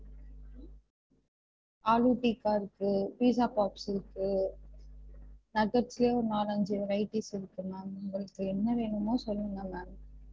ஆலு டிக்கா இருக்கு pizza chops இருக்கு nuggets ல ஒரு நாலஞ்சி varieties இருக்கு ma'am உங்களுக்கு என்ன வேணுமோ சொல்லுங்க ma'am